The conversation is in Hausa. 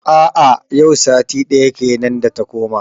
A a yau sati daya kenan da ta koma.